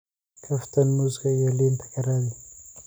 kaftan muuska iyo liinta ka raadi